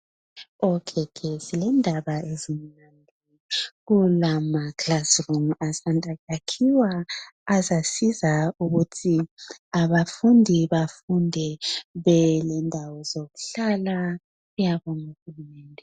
Endaweni ezinengi kulamakilasirumu asanda kwakhiwa azasiza ukuthi abafundi bafunde belendawo zokuhlala ayakhwe nguhulumende.